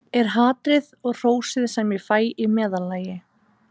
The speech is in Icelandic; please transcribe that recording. Er hatrið og hrósið sem ég fæ í meðallagi?